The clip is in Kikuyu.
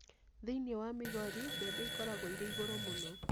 Thi͂ini͂ wa Migori, mbebe i͂koragwo i͂ri͂ igu͂ru͂ mu͂no.